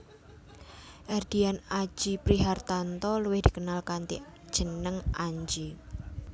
Erdian Aji Prihartanto luwih dikenal kanthi jeneng Anji